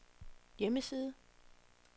hjemmeside